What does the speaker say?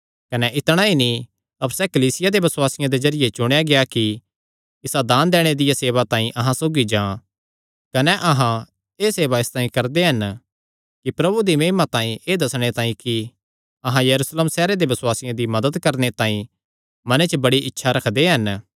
कने इतणा ई नीं अपर सैह़ कलीसिया दे बसुआसियां दे जरिये चुणेया गेआ कि इसा दान दैणे दिया सेवा तांई अहां सौगी जां कने अहां एह़ सेवा इसतांई करदे हन कि प्रभु दी महिमा तांई कने एह़ दस्सणे तांई कि अहां यरूशलेम सैहरे दे बसुआसियां दी मदत करणे तांई मने च बड़ी इच्छा रखदे हन